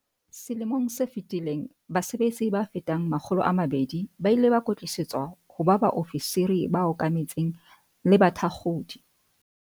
Selemong se fetileng base betsi ba fetang 200 ba ile ba kwetlisetswa ho ba baofisiri ba okametseng le bathakgodi.